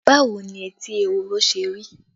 Báwo ni etí ehoro ṣe rí?